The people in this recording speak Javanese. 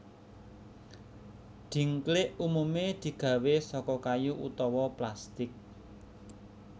Dhingklik umumé digawé saka kayu utawa plastik